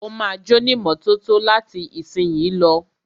Ó ma jónímọ́tótó láti ìsìnyí lọ.